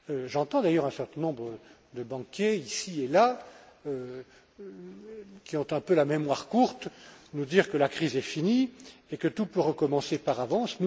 J'entends d'ailleurs un certain nombre de banquiers ici et là, qui ont un peu la mémoire courte, nous dire que la crise est finie et que tout peut recommencer par avance.